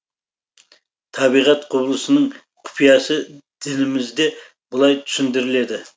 табиғат құбылысының құпиясы дінімізде былай түсіндіріледі